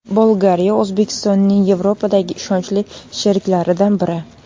Bolgariya O‘zbekistonning Yevropadagi ishonchli sheriklaridan biri.